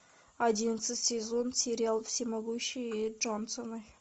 одиннадцатый сезон сериал всемогущие джонсоны